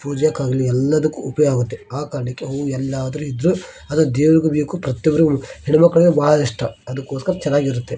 ಪೂಜೆ ಕ್ಕಾಗಲಿ ಎಲ್ಲದಕ್ಕೂ ಉಪಯೋಗ ಆಗುತ್ತೆ ಆ ಕಾರಣಕ್ಕೆ ಹೂ ಎಲ್ಲಾದರೂ ಇದ್ರೂ ಅದು ದೇವರಿಗೂ ಬೇಕು ಪ್ರತಿಯೊಬ್ಬರಿಗೂ ಹೆಣ್ಣು ಮಕ್ಕಳಿಗೂ ಬಹಳ ಇಷ್ಟ ಅದಕ್ಕೋಸ್ಕರ ಚೆನ್ನಾಗಿರುತ್ತೆ .